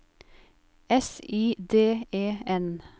S I D E N